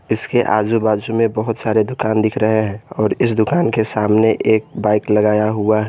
इसके आजू बाजू में बहुत सारे दुकान दिख रहे हैं और इस दुकान के सामने एक बाइक लगाया हुआ--